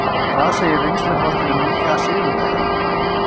En hvað segir reynsluboltinn um nýja sigurvegarann?